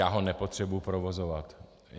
Já ho nepotřebuju provozovat.